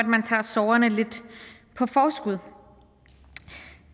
man tager sorgerne lidt på forskud